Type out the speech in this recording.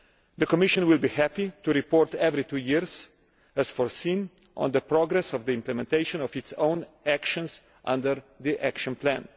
The Commission will be happy to report every two years, as foreseen, on the progress of the implementation of its own actions under the Action Plan.